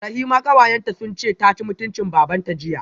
Rahima kawayenta sunce taci mutuncin babanta jiya